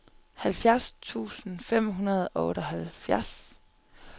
halvfjerds tusind fem hundrede og otteoghalvfjerds